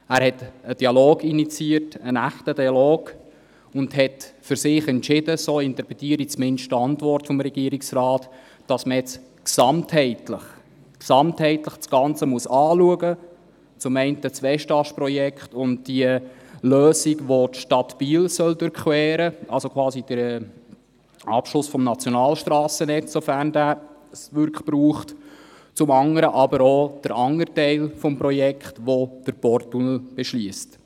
Er hat einen echten Dialog initiiert und für sich entschieden – so interpretiere ich zumindest die Antwort des Regierungsrates –, dass man nun das Ganze gesamtheitlich anschauen muss, zum einen das Westast-Projekt und die Lösung, mit welcher die Stadt Biel durchquert werden soll – quasi der Abschluss des Nationalstrassennetzes, sofern es diesen wirklich braucht – und zum anderen den anderen Teil des Projekts, der den Porttunnel beschliesst.